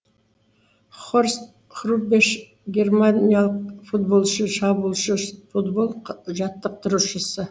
хорст хрубеш германиялық футболшы шабуылшы футбол жаттықтырушысы